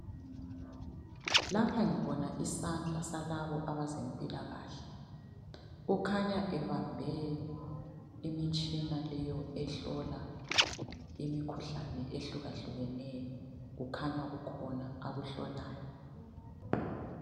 Lapha ngibona isandla salabo abezempilakahle . Okhanya ebambe imitshina leyo ehlola imikhuhlane ehlukahlukeneyo. Kukhanya kukhona akuhlolayo.